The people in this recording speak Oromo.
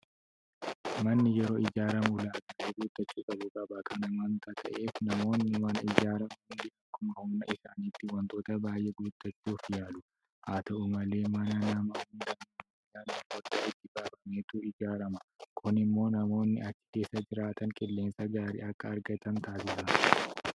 Manni yeroo ijaaramu ulaagaa guuttachuu qabu qaba. Kana waanta ta'eef namoonni mana ijaaran hundi akkuma humna isaaniitti waantota baay'ee guuttachuu yaalu. Haata'u malee mana nama hundaa yeroo ilaallu foddaa itti baafameetu ijaarama. Kun immoo namoonni achi keessa jiraatan qilleensa gaarii akka argatan taasisa.